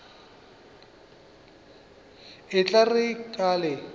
e tla re ka le